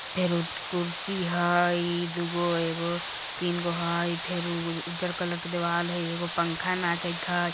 फेरु कुर्सी हय इ दु गो एगो तीन गो हय फेरु उज्जर कलर के देवाल हय एगो पंखा नाचएत हय।